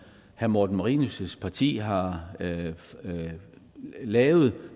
herre morten marinus parti har lavet